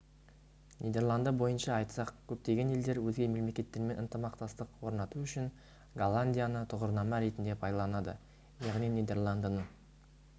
нидерланды бойынша айтсақ көптеген елдер өзге мемлекеттермен ынтымақтастық орнату үшін голландияны тұғырнама ретінде пайдаланады яғни нидерландыны